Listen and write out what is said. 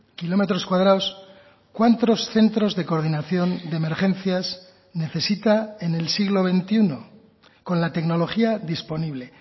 kilómetros cuadrados cuántos centros de coordinación de emergencias necesita en el siglo veintiuno con la tecnología disponible